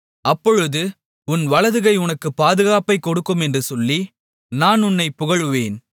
அப்பொழுது உன் வலதுகை உனக்கு பாதுகாப்பைக் கொடுக்கும் என்று சொல்லி நான் உன்னைப் புகழுவேன்